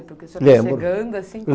Lembro. Porque o senhor estava chegando assim.